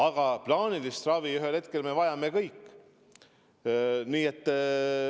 Aga plaanilist ravi võime ühel hetkel vajada me kõik.